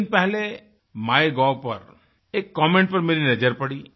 कुछ दिन पहले माइगोव पर एक कमेंट पर मेरी नजर पड़ी